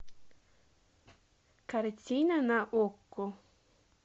картина на окко